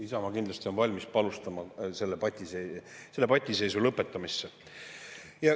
Isamaa on kindlasti valmis panustama selle patiseisu lõpetamisse.